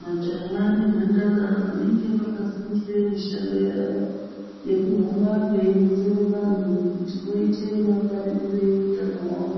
Majaha nemhandara vanenge vakafundire mishando yavo yekuhamba veironzera vanthu kuti voite mangwaririrei hutano hwavo